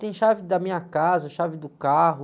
Tem chave da minha casa, chave do carro,